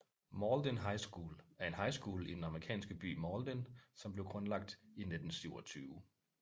Mauldin High School er en high school i den amerikanske by Mauldin som blev grundlagt i 1927